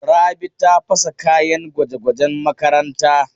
Rabi ta fasa kayan gwaje-gwajen makaranta.